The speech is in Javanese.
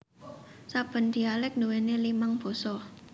Saben dialek nduweni limang basa